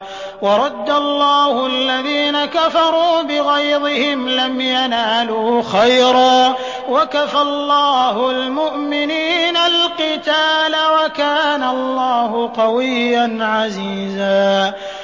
وَرَدَّ اللَّهُ الَّذِينَ كَفَرُوا بِغَيْظِهِمْ لَمْ يَنَالُوا خَيْرًا ۚ وَكَفَى اللَّهُ الْمُؤْمِنِينَ الْقِتَالَ ۚ وَكَانَ اللَّهُ قَوِيًّا عَزِيزًا